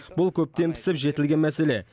бұл көптен пісіп жетілген мәселе